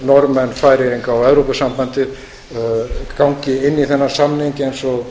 norðmenn færeyinga og evrópusambandið gangi inn í þennan samning eins og